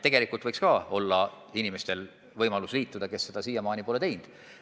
Tegelikult võiks olla võimalik liituda ka inimestel, kes seda siiamaani pole teinud.